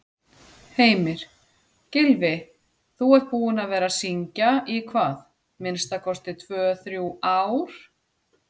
Heimir: Gylfi, þú ert búinn að vera að syngja í hvað, minnsta kosti tvö-þrjú ár?